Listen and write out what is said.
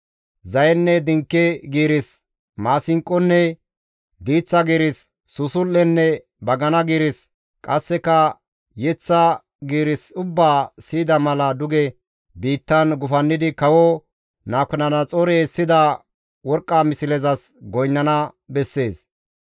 Zayenne dinke giiris, maasinqonne diiththa giiris, susul7enne bagana giiris, qasseka yeththa giiris ubbaa siyida mala duge biittan gufannidi kawo Nabukadanaxoorey essida worqqa mislezas goynnana bessees.